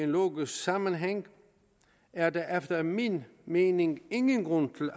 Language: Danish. logisk sammenhæng er der efter min mening ingen grund til